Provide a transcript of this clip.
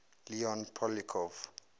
leon poliakov